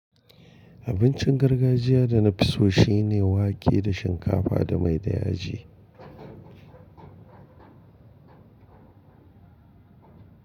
Abincin gargajiya da na fi so shine wake da shinkafa da mai da yaji.